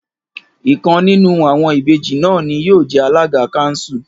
Ìkan nínú àwọn Ìbejì náà ni yóò jẹ alága káńsù